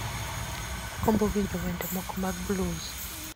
Agombo winjo wende moko mag blues